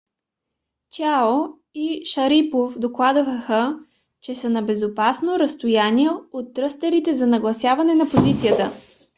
чиао и шарипов докладваха че са на безопасно разстояние от тръстерите за нагласяване на позицията